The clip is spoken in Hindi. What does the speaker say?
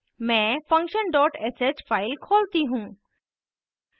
मैं function dot sh file खोलती हूँ